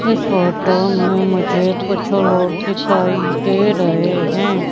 इस फोटो में मुझे कुछ लोग दिखाई दे रहें हैं।